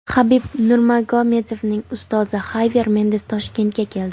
Habib Nurmagomedovning ustozi Xavyer Mendes Toshkentga keldi.